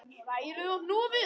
Hrærið og hnoðið.